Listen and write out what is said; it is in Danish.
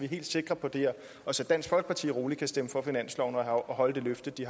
helt sikre på det og så dansk folkeparti roligt kan stemme for finansloven og holde det løfte de